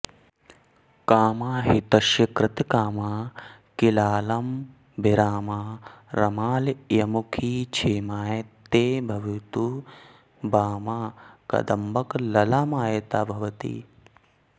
कामाहितस्य कृतकामा किलालमभिरामा रमालयमुखी क्षेमाय ते भवतु वामा कदम्बकललामायिता भगवती